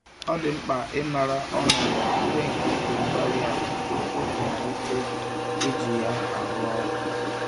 Ọ dị mkpa ịmara ọnọdụ ire nke igwe-mgbárí-ala tupu ịmalite iji ya arụ ọrụ